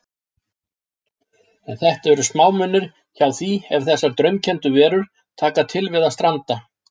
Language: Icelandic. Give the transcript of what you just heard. En þetta eru smámunir hjá því ef þessar draumkenndu verur taka til við að stranda.